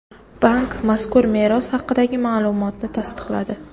Bank mazkur meros haqidagi ma’lumotni tasdiqladi.